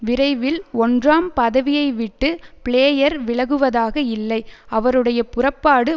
விரைவில் ஒன்றாம் பதவியை விட்டு பிளேயர் விலகுவதாக இல்லை அவருடைய புறப்பாடு